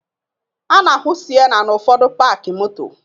A na-ahụ Siena n'ụfọdụ paakị moto